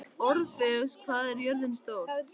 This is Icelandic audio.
Orfeus, hvað er jörðin stór?